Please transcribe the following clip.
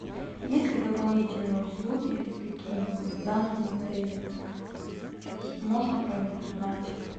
есть ли дополнительные услуги какие нибудь в данном отеле можно про них узнать